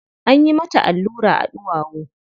Anyi mata allura a ɗuwawu.